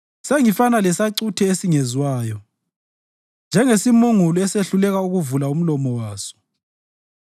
Sengifana lesacuthe esingezwayo, njengesimungulu esehluleka ukuvula umlomo waso;